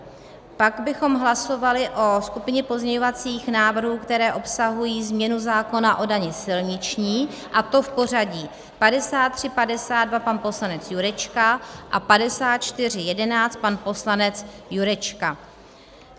Pak bychom hlasovali o skupině pozměňovacích návrhů, které obsahují změnu zákona o dani silniční, a to v pořadí 5352 - pan poslanec Jurečka a 5411 - pan poslanec Jurečka.